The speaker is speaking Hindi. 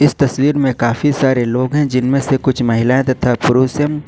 तस्वीर में काफी सारे लोग हैं जिनमें से कुछ महिलाएं तथा पुरुष है।